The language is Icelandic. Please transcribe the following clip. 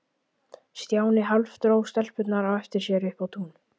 Stjáni hálfdró stelpurnar á eftir sér upp á tún.